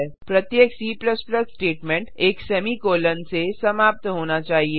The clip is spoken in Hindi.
प्रत्येक C स्टेटमेंट एक सेमीकोलों से समाप्त होना चाहिए